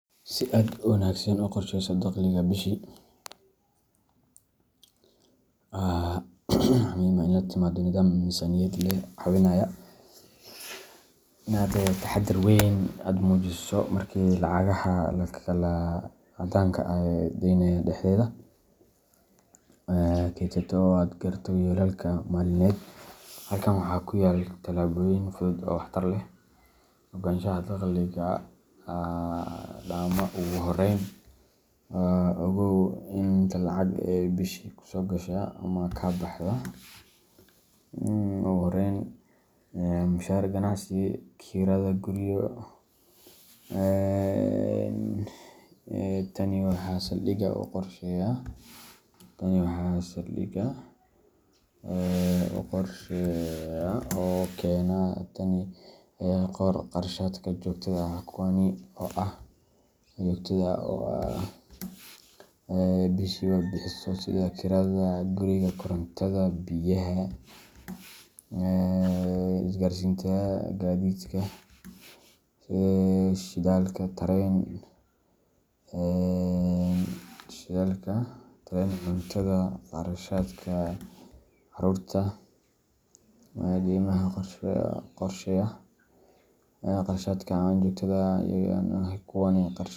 Si aad si wanaagsan u qorsheysato dakhligaaga bishii, waa muhiim inaad la timaado nidaam miisaaniyad leh oo kaa caawinaya inaad xakameyso kharashaadka, kaydsato, oo aad gaarto yoolalkaaga maaliyadeed. Halkan waxaa ku yaal talaabooyin fudud oo waxtar leh: Ogaanshaha Dakhliga Dhammaa Ugu horreyn, ogow inta lacag ah ee aad bishii soo gasho ka timid mushaar, ganacsi, kirada guryo, iwaran Tani waa saldhigga qorshahaaga. Qor Kharashaadka Joogtada ah Kuwani waa kharashaadka aad bishiiba bixiso, sida:Kirada guriga Korontada, biyaha, isgaarsiinta Gaadiidka shidaalka, tareen, .Cuntada Kharashaadka carruurta haddii ay jiraanDeymaha haddii aad leedahay Qorshee Kharashaadka Aan Joogtada ahay Kuwani waa kharashaadka aan joogtada ahayn sida.